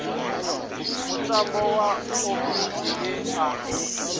mutambo wa oḽimpiki we wa